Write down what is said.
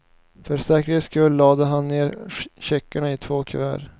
För säkerhets skull lade han ner checkarna i två kuvert.